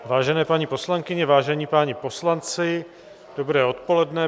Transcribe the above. Vážené paní poslankyně, vážení páni poslanci, dobré odpoledne.